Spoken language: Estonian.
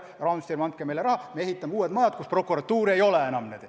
Ja, Rahandusministeerium, andke meile raha, me ehitame uued kohtumajad, kus prokuratuuri ei ole.